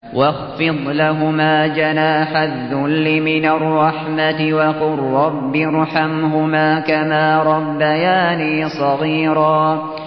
وَاخْفِضْ لَهُمَا جَنَاحَ الذُّلِّ مِنَ الرَّحْمَةِ وَقُل رَّبِّ ارْحَمْهُمَا كَمَا رَبَّيَانِي صَغِيرًا